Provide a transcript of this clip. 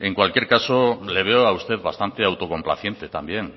en cualquier caso le veo a usted bastante autocomplaciente también